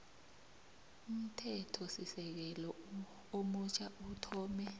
umthethosisekelo omutjha uthome